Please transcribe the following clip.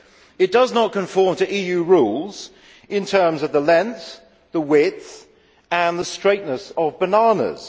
It does not conform to EU rules in terms of the length, the width and the straightness of bananas.